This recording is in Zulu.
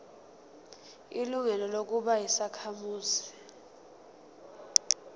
ilungelo lokuba yisakhamuzi